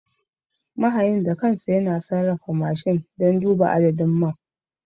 Mahayin da kansa yana sarrafa mashin don duba adadin man.